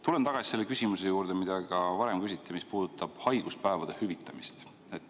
Tulen tagasi selle küsimuse juurde, mida ka varem küsiti, mis puudutab haiguspäevade hüvitamist.